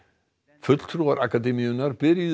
fulltrúar akademíunnar byrjuðu